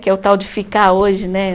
Que é o tal de ficar hoje, né?